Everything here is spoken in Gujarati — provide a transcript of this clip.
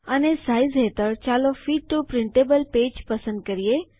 અને સાઇઝ હેઠળ ચાલો ફિટ ટીઓ પ્રિન્ટેબલ પેજ પસંદ કરીએ